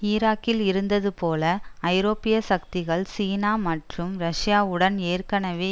ஈராக்கில் இருந்ததுபோல் ஐரோப்பிய சக்திகள் சீனா மற்றும் ரஷ்யாவுடன் ஏற்கனவே